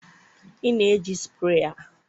ị na-eji sprayer